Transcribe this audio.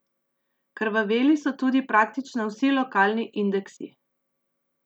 Krvaveli so tudi praktično vsi lokalni indeksi.